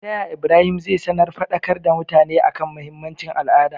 taya ibrahim zai sanar fadakar da mutane akan mahinmancin al'ada?